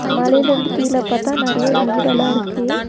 மலையிலிருந்து கீழ பாத்தா நெறையா வீடல்லாருக்கு.